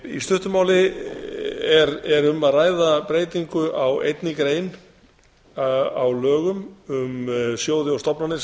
í stuttu máli er um að ræða breytingu á einni grein í lögum um sjóði og stofnanir sem